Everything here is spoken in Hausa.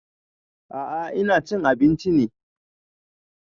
A'a ina cin abinci ne